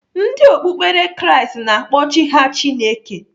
Ndị okpukperechi Kraịst na-akpọ Chi ha Chineke.